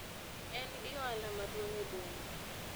en gi ohala maduong' e boma